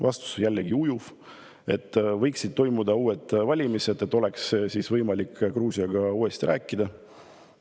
Vastus oli jällegi ujuv – võiksid toimuda uued valimised, et oleks võimalik Gruusiaga uuesti rääkida.